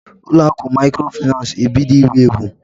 Ụlọ akụ maịkrofaịnans na-ebido iwu ewu.